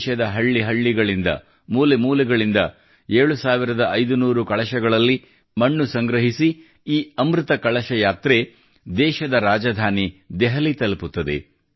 ದೇಶದ ಹಳ್ಳಿ ಹಳ್ಳಿಗಳಿಂದ ಮೂಲೆ ಮೂಲೆಗಳಿಂದ 7500 ಕಳಶಗಳಲ್ಲಿ ಮಣ್ಣು ಸಂಗ್ರಹಿಸಿ ಈ ಅಮೃತ ಕಳಶ ಯಾತ್ರೆ ದೇಶದ ರಾಜಧಾನಿ ದೆಹಲಿ ತಲುಪುತ್ತದೆ